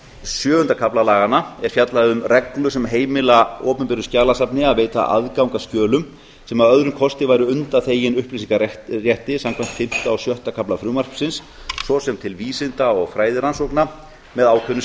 sjöunda kafla laganna er fjallað um reglur sem heimila opinberu skjalasafni að veita aðgang að skjölum sem að öðrum kosti væru undanþegin upplýsingarétti samkvæmt fimmta og sjötta kafla frumvarpsins svo sem til vísinda og fræðirannsókna með ákveðnum